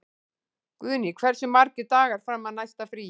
Guðný, hversu margir dagar fram að næsta fríi?